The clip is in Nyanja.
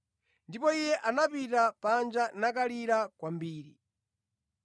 Ndipo iye anapita panja nakalira kwambiri.